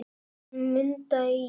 Hún Munda í